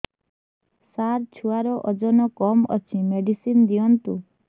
ସାର ଛୁଆର ଓଜନ କମ ଅଛି ମେଡିସିନ ଦିଅନ୍ତୁ